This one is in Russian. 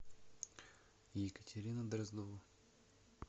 екатерина дроздова